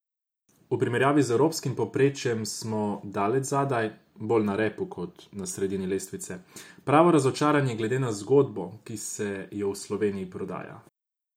V primerjavi z evropskim povprečjem smo daleč zadaj, bolj na repu, kot na sredini lestvice, pravo razočaranje glede na zgodbo, ki se jo v Sloveniji prodaja.